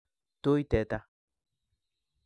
Tui teta